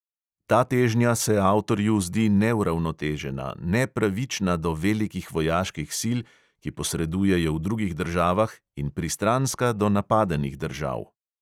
Ta težnja se avtorju zdi neuravnotežena, "nepravična" do velikih vojaških sil, ki posredujejo v drugih državah, in pristranska do napadenih držav.